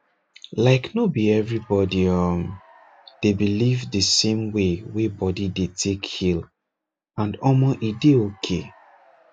like no be everybody um dey believe the same way wey body dey take heal and omor e dey okay